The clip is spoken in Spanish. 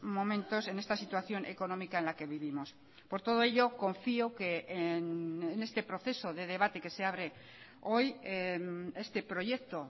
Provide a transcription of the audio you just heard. momentos en esta situación económica en la que vivimos por todo ello confío que en este proceso de debate que se abre hoy este proyecto